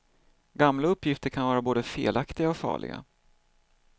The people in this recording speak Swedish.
Gamla uppgifter kan vara både felaktiga och farliga.